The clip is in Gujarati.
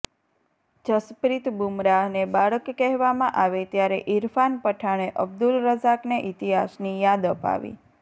જસપ્રિત બુમરાહને બાળક કહેવામાં આવે ત્યારે ઇરફાન પઠાણે અબ્દુલ રઝાકને ઇતિહાસની યાદ અપાવી